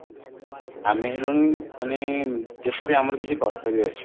ଆମେ ହେଲୁଣି ମାନେ ଦେଶ ପାଇଁ ଆମର କିଛି କର୍ତବ୍ୟ ଅଛି